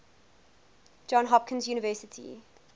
johns hopkins university